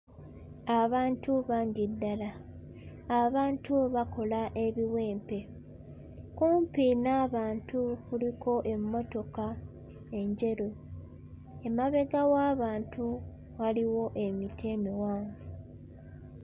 Abantu bangi ddala abantu bakola ebiwempe kumpi n'abantu kuliko emmotoka enjeru emabega w'abantu waliwo emiti emiwanvu.